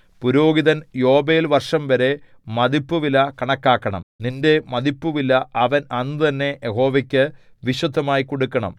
പുരോഹിതൻ യോബേൽ വർഷംവരെ മതിപ്പുവില കണക്കാക്കണം നിന്റെ മതിപ്പുവില അവൻ അന്നുതന്നെ യഹോവയ്ക്കു വിശുദ്ധമായി കൊടുക്കണം